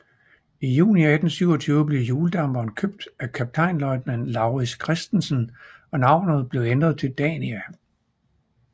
I juni 1827 blev hjuldamperen købt af kaptajnløjtnant Laurits Christensen og navnet blev ændret til Dania